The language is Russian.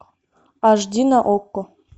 аш ди на окко